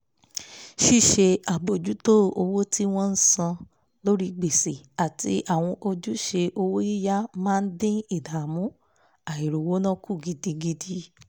ṣíṣe àbójútó owó tí wọ́n ń san lórí gbèsè àti àwọn ojúṣe owó yíyá máa dín ìdààmú àìr'ówóná kù gidigidi